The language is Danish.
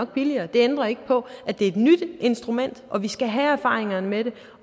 billigere det ændrer ikke på at det er et nyt instrument og at vi skal have erfaringer med det